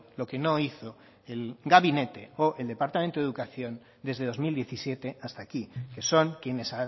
lo que no hizo el gabinete o el departamento de educación desde dos mil diecisiete hasta aquí que son quienes